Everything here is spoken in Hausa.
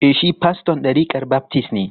E, shi faston ɗarikar baftis ne.